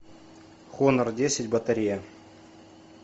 хонор десять батарея